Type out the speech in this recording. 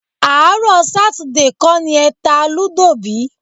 Àárọ̀ Sátidé kọ́ ni ẹ ta lúdò bí?